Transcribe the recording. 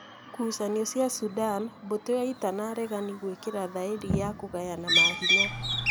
Ngucanio cia Sudan: Mbũtũ ya ita na aregani gwikira thaĩri na kũgayana mahinya".